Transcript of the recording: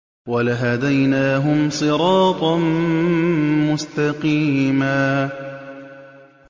وَلَهَدَيْنَاهُمْ صِرَاطًا مُّسْتَقِيمًا